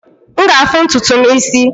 M ga-afụ ntutu m isi.